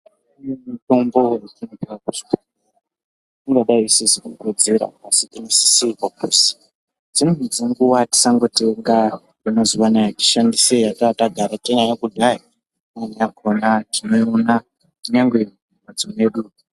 Kune mitombo..... Ingadai isizi kukodzera asi tinosisirwa kuzi dzimweni dzenguva tisangotenga yemazuva anaya tishandise yatanga tagara tinayo kudhaya. Imweni yakona tinoiona kunyangwe mumhatso mwedu.